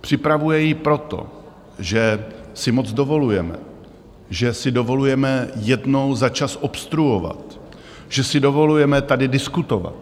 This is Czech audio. Připravuje ji proto, že si moc dovolujeme, že si dovolujeme jednou za čas obstruovat, že si dovolujeme tady diskutovat.